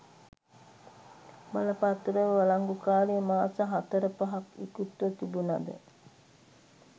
බලපත්‍රවල වලංගු කාලය මාස හතර පහක් ඉකුත්ව තිබුණද